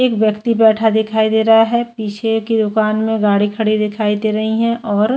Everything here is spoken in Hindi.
एक व्यक्ति बैठा दिखाई दे रहा है पीछे की दुकान में गाड़ी खड़ी दिखाई दे रही है और--